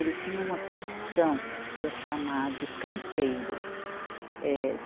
Ele tinha uma profissão que é chamado canteiro. Eh